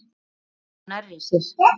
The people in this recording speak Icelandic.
Lóu nærri sér.